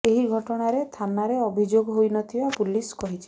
ଏହି ଘଟଣାରେ ଥାନାରେ ଅଭିଯୋଗ ହୋଇ ନଥିବା ପୁଲିସ କହିଛି